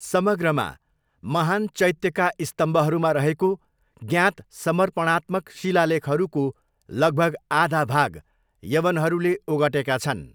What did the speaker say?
समग्रमा, महान् चैत्यका स्तम्भहरूमा रहेको ज्ञात समर्पणात्मक शिलालेखहरूको लगभग आधा भाग यवनहरूले ओगटेका छन्।